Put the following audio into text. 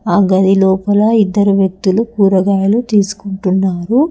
ఆ గదిలోపల ఇద్దరు వ్యక్తులు కూరగాయలు తీసుకుంటున్నారు.